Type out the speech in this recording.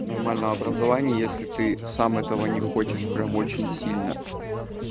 нормального образования если ты сам этого не хочешь прям очень сильно